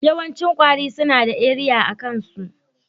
Yawancin kwari suna da eriya a kain' su.